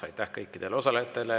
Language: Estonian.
Aitäh kõikidele osalejatele!